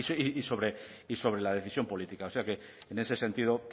y sobre la decisión política o sea que en ese sentido